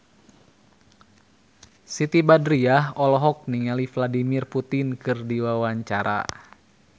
Siti Badriah olohok ningali Vladimir Putin keur diwawancara